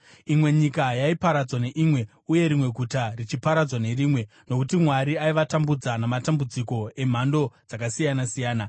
Imwe nyika yaiparadzwa neimwe uye rimwe guta richiparadzwa nerimwe, nokuti Mwari aivatambudza namatambudziko emhando dzakasiyana-siyana.